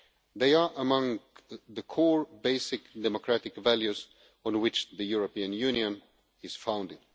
They are among the core basic democratic values on which the European Union is founded.